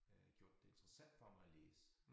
Øh gjort det interessant for mig at læse